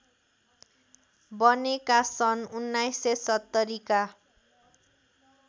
बनेका सन् १९७० का